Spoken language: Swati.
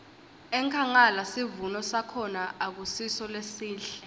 enkhangala sivuno sakhona akusiso lesihle